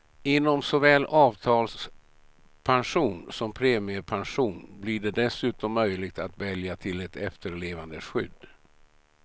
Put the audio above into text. Inom såväl avtalspension som premiepension blir det dessutom möjligt att välja till ett efterlevandeskydd.